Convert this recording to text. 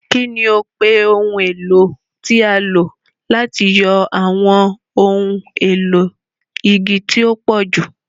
Kí ni o pe ohun èlò tí a lò láti yọ àwọn ohun èlò igi tí ó pọ̀jù?